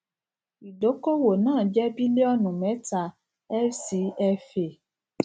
ìdókòwò náà jẹ bílíọnù mẹta fcfa